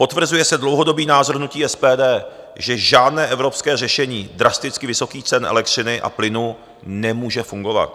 Potvrzuje se dlouhodobý názor hnutí SPD, že žádné evropské řešení drasticky vysokých cen elektřiny a plynu nemůže fungovat.